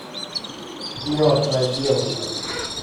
мертвая девушка